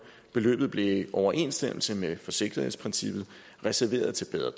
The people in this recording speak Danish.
beløbet blev i overensstemmelse med forsigtighedsprincippet reserveret til bedre